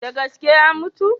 Da gaske ya mutu?